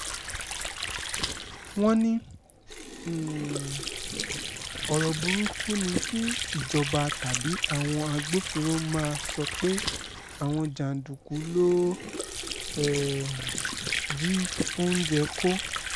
wọ́n ní um ọ̀rọ̀ burúkú ni kí ìjọba tàbí àwọn agbófinró máa sọ pé àwọn jàǹdùkú lóò um jí oúnjẹ kó